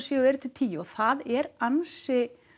sjö og eru til tíu og það er ansi